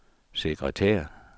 sekretær